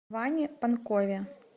ване панкове